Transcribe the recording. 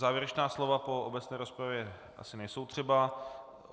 Závěrečná slova po obecné rozpravě asi nejsou třeba.